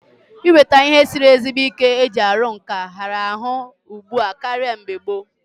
Inweta ihe siri ezigbo ike eji aru nka hiara ahu ugbua karia na mgbe gboo